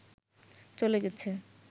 চলে গেছে